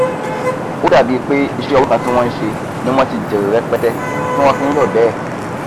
ó dàbí pé iṣẹ òwò kan tí wọn sẹ ni wọn ti jèrè rẹpẹtẹ ti wọn fi nyọ bẹẹ